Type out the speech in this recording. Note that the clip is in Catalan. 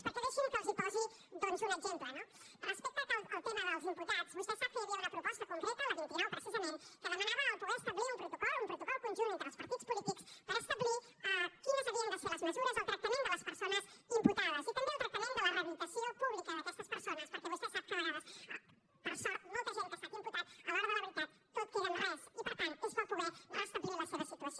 perquè deixin me que els posi doncs un exemple no respecte al tema dels imputats vostè sap que hi havia una proposta concreta la vint nou precisament que demanava poder establir un protocol un protocol conjunt entre els partits polítics per establir quines havien de ser les mesures el tractament de les persones imputades i també el tractament de la rehabilitació pública d’aquestes persones perquè vostè sap que de vegades per sort molta gent que ha estat imputada a l’hora de la veritat tot queda en res i per tant és bo poder restablir la seva situació